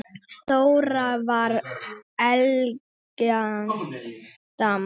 Þóra var elegant dama.